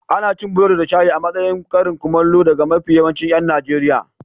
Ana cin burodi da shayi a matsayin karin kumallo daga mafi yawan 'yan Najeriya.